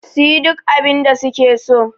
su yi duk abinda suke so